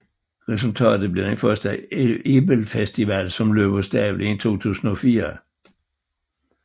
Resultatet blev den første Ebelfestival som løb af stablen i 2004